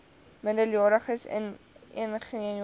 minderjariges enigeen jonger